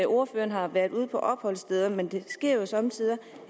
ordføreren har været ude på opholdssteder men det sker jo somme tider